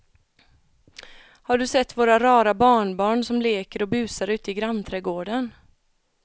Har du sett våra rara barnbarn som leker och busar ute i grannträdgården!